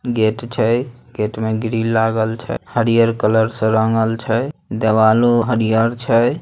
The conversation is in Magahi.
गेट छै गेट में ग्रिल लागल छै। हरिअर कलर से रंगल छै देवालो छै।